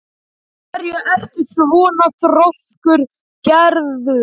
Af hverju ertu svona þrjóskur, Geirarður?